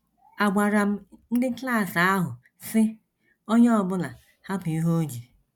Agwara m ndị klas ahụ, sị: ‘ Onye ọ bụla hapụ ihe o ji.